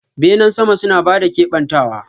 Benen sama suna ba da kebantawa.